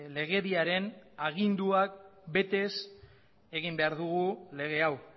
legediaren aginduak betez egin behar dugu lege hau